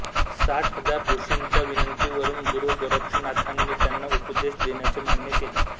साठ हजार ऋषींच्या विनंतीवरून गुरू गोरक्षनाथांनी त्यांना उपदेश देण्याचे मान्य केले